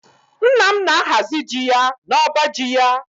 Nna m na-ahazi ji ya n'ọba ji ya